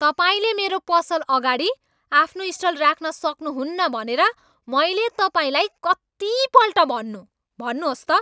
तपाईँले मेरो पसल अगाडि आफ्नो स्टल राख्न सक्नुहुन्न भनेर मैले तपाईँलाई कतिपल्ट भन्नु? भन्नुहोस् त!